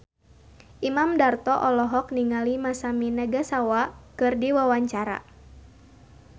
Imam Darto olohok ningali Masami Nagasawa keur diwawancara